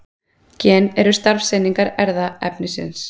Gen eru starfseiningar erfðaefnisins.